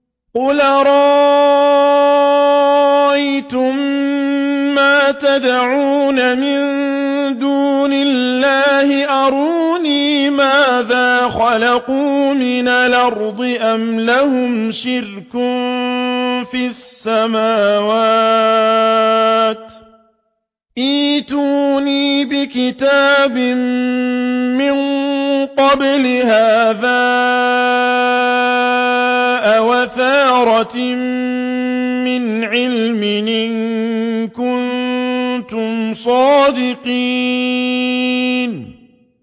قُلْ أَرَأَيْتُم مَّا تَدْعُونَ مِن دُونِ اللَّهِ أَرُونِي مَاذَا خَلَقُوا مِنَ الْأَرْضِ أَمْ لَهُمْ شِرْكٌ فِي السَّمَاوَاتِ ۖ ائْتُونِي بِكِتَابٍ مِّن قَبْلِ هَٰذَا أَوْ أَثَارَةٍ مِّنْ عِلْمٍ إِن كُنتُمْ صَادِقِينَ